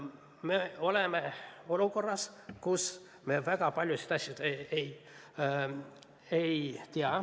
Me oleme olukorras, kus me väga paljusid asju ei tea.